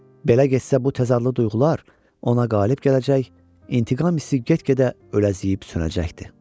Belə getsə bu təzadlı duyğular ona qalib gələcək, intiqam hissi get-gedə öləziyib sönəcəkdir.